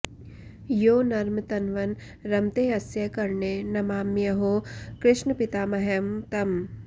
यो नर्म तन्वन् रमतेऽस्य कर्णे नमाम्यहो कृष्णपितामहं तम्